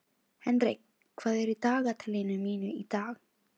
Henrik, hvað er í dagatalinu mínu í dag?